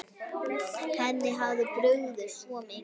Henni hafði brugðið svo mikið.